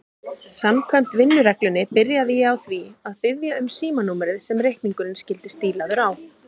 Samkvæmt vinnureglunni byrjaði ég á því að biðja um símanúmerið sem reikningurinn skyldi stílaður á.